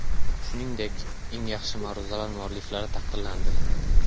Shuningdek, eng yaxshi ma’ruzalar mualliflari taqdirlandi.